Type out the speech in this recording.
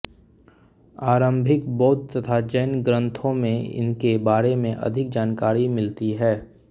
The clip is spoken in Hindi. आरम्भिक बौद्ध तथा जैन ग्रंथों में इनके बारे में अधिक जानकारी मिलती है